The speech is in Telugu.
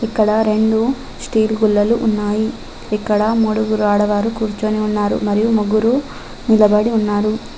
ఇక్కడ రెండు స్టీల్ గుల్లలు ఉన్నాయి ఇక్కడ మూడుగురు ఆడవారు కూర్చొని ఉన్నారు మరియు ముగ్గురు నిలబడి ఉన్నారు.